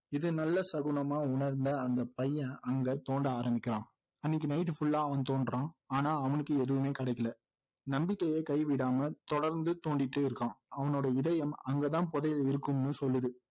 இதை நல்ல சகுனமா உணர்ந்த அந்த பையன் அங்க தோண்ட ஆரம்பிக்குறான் அன்னைக்கு night full ஆ அவன் தோண்டுறான் ஆனா அவனுக்கு எதுவுமே கிடைக்கல நம்பிக்கையை கை விடாம தொடர்ந்து தோண்டிகிட்டே இருக்கிறான் அவனோட இதையம் அங்கதான் புதையல் இருக்குதுன்னு சொல்லுது